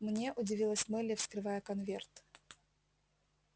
мне удивилась мелли вскрывая конверт